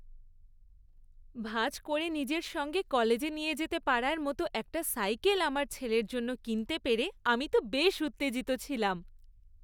ভাঁজ করে নিজের সঙ্গে কলেজে নিয়ে যেতে পারার মতো একটা সাইকেল আমার ছেলের জন্য কিনতে পেরে আমি তো বেশ উত্তেজিত ছিলাম।